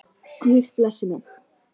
Guð blessi mig.